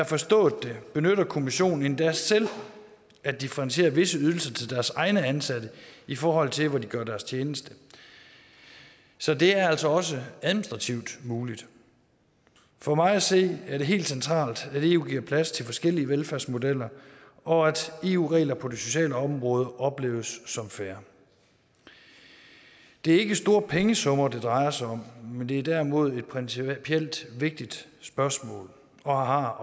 forstået det benytter kommissionen endda selv at differentiere visse ydelser til deres egne ansatte i forhold til hvor de gør deres tjeneste så det er altså også administrativt muligt for mig at se er det helt centralt at eu giver plads til forskellige velfærdsmodeller og at eu regler på det sociale område opleves som fair det er ikke store pengesummer det drejer sig om men det er derimod et principielt vigtigt spørgsmål og har